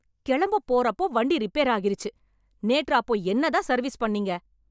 கிளம்பப்போற அப்போ வண்டி ரிப்பேர் ஆகிருச்சு, நேற்று அப்போ என்னதான் சர்வீஸ் பண்ணிங்க